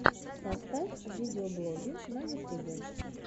поставь видеоблоги на ютубе